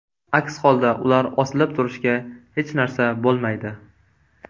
Aks holda ular osilib turishga hech narsa bo‘lmaydi”.